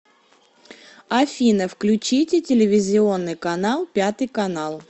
афина включите телевизионный канал пятый канал